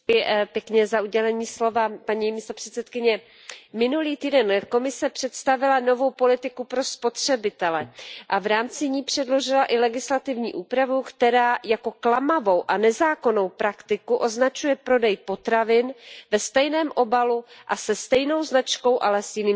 Paní předsedající, minulý týden Komise představila novou politiku pro spotřebitele a v rámci ní předložila i legislativní úpravu, která jako klamavou a nezákonnou praktiku označuje prodej potravin ve stejném obalu a se stejnou značkou, ale s jiným složením.